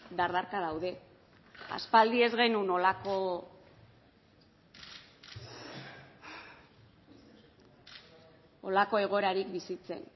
dardarka daude aspaldi ez genuen horrelako egoerarik bizitzen